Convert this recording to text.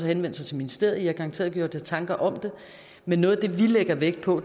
henvendt sig til ministeriet man har garanteret gjort sig tanker om det men noget af det vi lægger vægt på